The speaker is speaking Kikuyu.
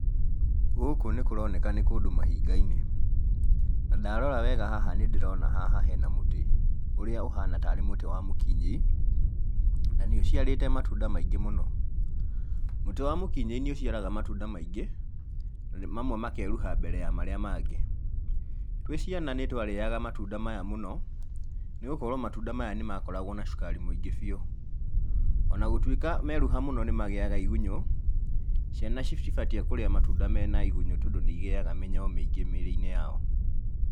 Gũkũ nĩ kũroneka nĩ kũndũ mahinga-inĩ, na ndarora wega haha nĩ ndĩrona haha hena mũtĩ, ũrĩa ũhana tarĩ mũtĩ wa mũkinyĩi, na nĩ ũciarĩte matunda mingĩ mũno. Mũtĩ wa mũkinyĩi nĩ ũciaraga matunda maingĩ na mamwe makeruha mbere ya marĩa mangĩ. Twĩ ciana nĩ twarĩaga matunda maya mũno, nĩgũkorwo matunda maya nĩ makoragwo na cukari mũingĩ biũ, ona gũtuĩka meruha mũno nĩ magĩaga igunyũ, ciana citibatie kũrĩa matunda mena igunyũ tondũ nĩ cigĩaga mĩnyoo mĩingĩ mĩrĩ-inĩ yao.